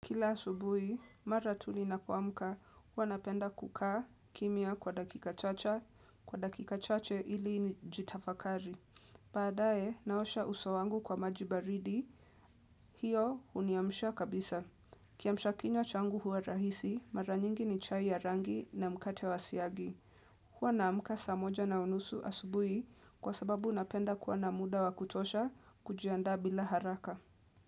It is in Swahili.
Kila asubui, mara tulinapo mka, hua napenda kukaa kimia kwa dakika chacha, kwa dakika chache ili ni jitafakari. Baadae, naosha usowangu kwa majibaridi, hiyo huniamsha kabisa. Kiamshakinywa changu hua rahisi, mara nyingi ni chai ya rangi na mkate wa siagi. Huwa na mka samoja na unusu asubui kwa sababu unapenda kwa na muda wa kutosha kujiandaa bila haraka.